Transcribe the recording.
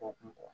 O kun